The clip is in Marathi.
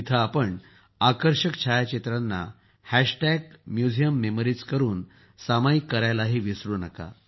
तेथे आपण आकर्षक छायाचित्रांना हॅशटॅग म्युझियम मेमरीज करून सामायिक करायलाही विसरू नका